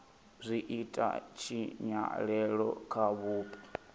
zwi ita tshinyalelo kha vhupo